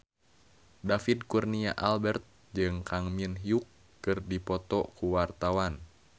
David Kurnia Albert jeung Kang Min Hyuk keur dipoto ku wartawan